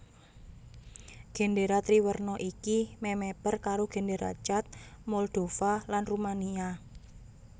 Gendéra triwerna iki memeper karo GendéraChad Moldova lan Rumania